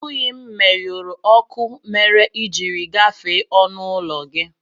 Ọ bụghị m menyụrụ ọkụ mere i ji gafee ọnụụlọ gị